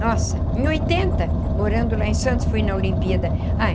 Nossa, em oitenta, morando lá em Santos, fui na Olimpíada ai